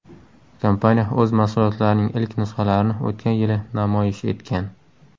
Kompaniya o‘z mahsulotlarining ilk nusxalarini o‘tgan yili namoyish etgan.